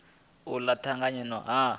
ola na u tanganya ha